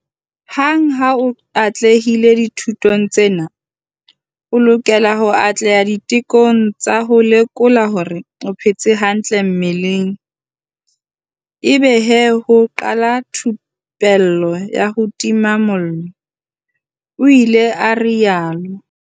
"Hang ha o atlehile dithutong tsena o lokela ho atleha ditekong tsa ho lekola hore o phetse hantle mmeleng ebe he ho qala thupello ya ho tima mollo," o ile a rialo.